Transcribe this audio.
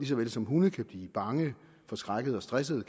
så vel som hunde kan blive bange forskrækkede og stressede